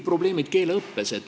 Probleemid keeleõppes.